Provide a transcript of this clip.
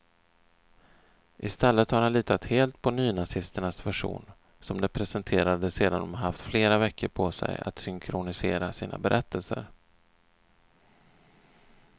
I stället har han litat helt på nynazisternas version, som de presenterade sedan de haft flera veckor på sig att synkronisera sina berättelser.